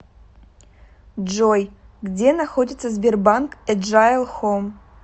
джой где находится сбербанк эджайл хом